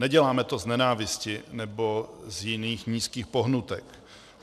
Neděláme to z nenávisti nebo z jiných nízkých pohnutek.